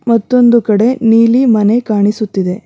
ಮತ್ತೊಂದು ಕಡೆ ನೀಲಿ ಮನೆ ಕಾಣಿಸುತ್ತಿದೆ.